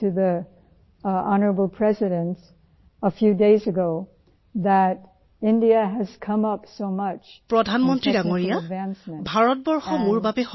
যদুৰাণী জীঃ প্ৰধানমন্ত্ৰী মহোদয় ভাৰত মোৰ বাবে সকলো